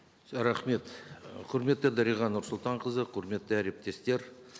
рахмет құрметті дариға нұрсұлтанқызы құрметті әріптестер